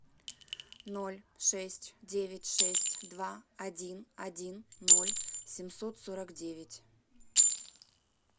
ноль шесть девять шесть два один один ноль семьсот сорок девять